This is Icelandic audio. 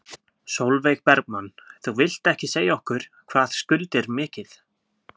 Sólveig Bergmann: Þú vilt ekki segja okkur hvað skuldir mikið?